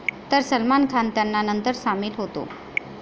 तर सलमान खान त्यांना नंतर सामील होतो.